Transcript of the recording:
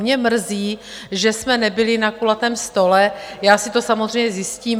Mě mrzí, že jsme nebyli na kulatém stole, já si to samozřejmě zjistím.